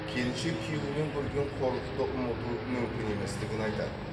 келіншек күйеуінен көрген қорлықты ұмыту мүмкін еместігін айтады